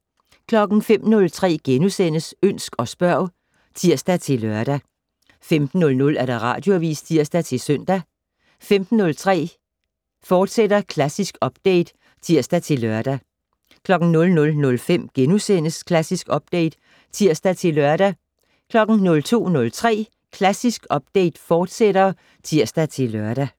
05:03: Ønsk og spørg *(tir-lør) 15:00: Radioavis (tir-søn) 15:03: Klassisk Update, fortsat (tir-lør) 00:05: Klassisk Update *(tir-lør) 02:03: Klassisk Update, fortsat (tir-lør)